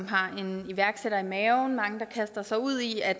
har en iværksætter i maven og kaster sig ud i at